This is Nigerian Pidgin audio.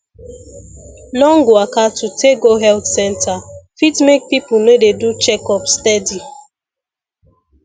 long waka to take go health center fit make people no dey do checkup steady